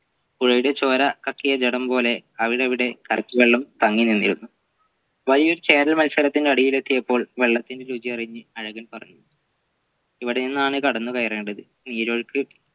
പുഴയുടെ ചോര കത്തിയ ജഡം പോലെ അവരവിടെ കരയ്ക് വെള്ളം തങ്ങിനിന്നിരുന്നു വഴിയിൽ മത്സരത്തിന്റെ അടിയിൽ എത്തിയപ്പോൾ വെള്ളത്തിൻറെ രുചി അറിഞ്ഞ് അഴ്കൻ പറഞ്ഞു ഇവിടെന്നാണ് കടന്നുകയറേണ്ടത് നീരൊഴുക്ക്